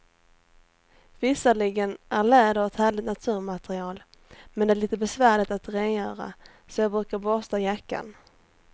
Visserligen är läder ett härligt naturmaterial, men det är lite besvärligt att rengöra, så jag brukar borsta jackan.